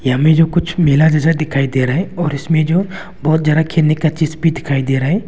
हमें जो कुछ मेला जैसा दिखाई दे रहा है और इसमें जो बहुत ज्यादा खेलने का चीज भी दिखाई दे रहा है।